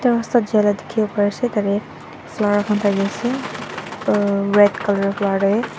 rasta jaila dikhiwo pariase tatae flower khan thakiase uah red colour tae.